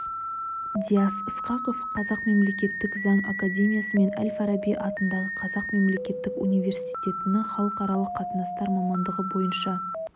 диас ысқақов қазақ мемлекеттік заң академиясы мен әл-фараби атындағы қазақ мемлекеттік университетін халықаралық қатынастар мамандығы бойынша